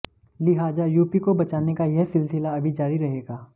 लिहाजा यूपी को बचाने का यह सिलसिला अभी जारी रहेगा